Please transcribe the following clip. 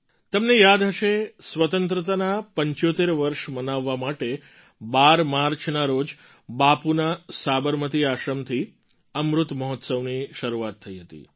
તમને યાદ હશે સ્વતંત્રતાનાં ૭૫ વર્ષ મનાવવા માટે ૧૨ માર્ચના રોજ બાપુના સાબરમતી આશ્રમથી અમૃત મહોત્સવની શરૂઆત થઈ હતી